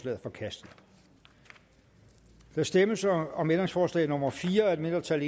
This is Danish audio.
er forkastet der stemmes om om ændringsforslag nummer fire af et mindretal